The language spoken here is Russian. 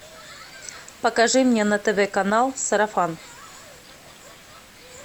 покажи мне на тв канал сарафан